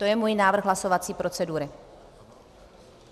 To je můj návrh hlasovací procedury.